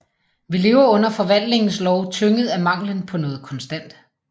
Vi lever under forvandlingens lov tynget af manglen på noget konstant